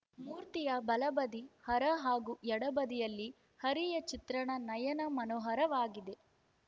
ಮೂರ್ತಿಯ ಬಲಬದಿ ಹರ ಹಾಗೂ ಎಡಬದಿಯಲ್ಲಿ ಹರಿಯ ಚಿತ್ರಣ ನಯನ ಮನೋಹರವಾಗಿದೆ